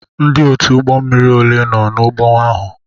Ndị otu ụgbọ mmiri ole nọ n'ụgbọ ahụ?